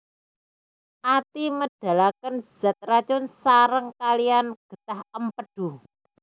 Ati médhalakén zat racun saréng kaliyan gétah Émpédu